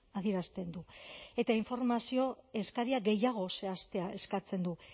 adierazten du eta informazio eskaria gehiago zehaztea eskatzen du